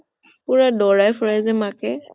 পুৰা দৌৰাই ফুৰে যে মাকে